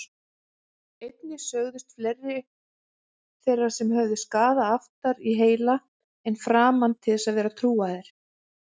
Einnig sögðust fleiri þeirra sem höfðu skaða aftar í heila en framan til vera trúaðir.